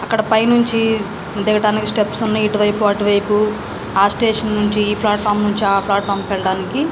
ఇక్కడ పైన్ నుంచి దిగడానికి స్టెప్స్ ఉన్నాయి ఇటు వైపు అటు వైపు ఆ స్టేషన్ నుంచి ఆ ఫ్లటుఫార్మ్ నుంచి ఈ ఫ్లటుఫార్మ్ కి --